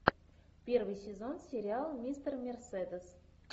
первый сезон сериал мистер мерседес